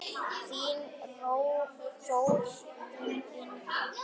Þín Þórunn Inga.